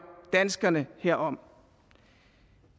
danskerne herom